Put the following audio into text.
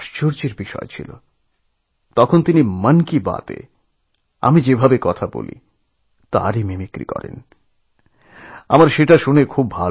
অত্যন্তআশ্চর্য হয়ে গেলাম মজাও লাগলো উনি মন কি বাতএ আমি যেভাবেকথা বলি তার মিমিক্রি করলেনএবং মন কি বাতএরই মিমিক্রি করে শোনালেন